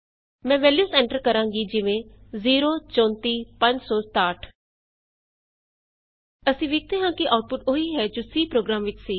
ਮੈਂ values enter ਕਰਾਂਗੀ ਜਿਵੇਂ ਅਸੀਂ ਵੇਖਦੇ ਹਾਂ ਕਿ ਆਉਟਪੁਟ ਉਹੀ ਹੈ ਜੋ C ਪ੍ਰੋਗਰਾਮ ਵਿਚ ਸੀ